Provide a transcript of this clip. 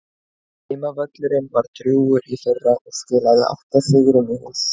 Heimavöllurinn var drjúgur í fyrra og skilaði átta sigrum í hús.